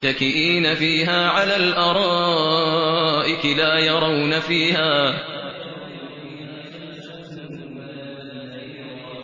مُّتَّكِئِينَ فِيهَا عَلَى الْأَرَائِكِ ۖ لَا يَرَوْنَ فِيهَا شَمْسًا وَلَا زَمْهَرِيرًا